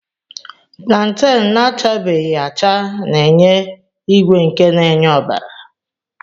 Planten na-achabeghi acha na-enye ígwè nke na-enye ọbara.